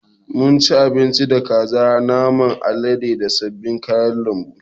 Mun ci abinci da kaza, naman alade da sabbin kayan lambu.